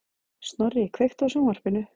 Snorri, kveiktu á sjónvarpinu.